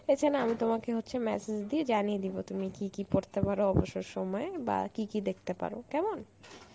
এছাড়া আমি তোমাকে হচ্ছে message দিয়ে জানিয়ে দিবো তুমি কী কী পড়তে পারো অবসর সময়ে বা কী কী দেখতে পারো, কেমন?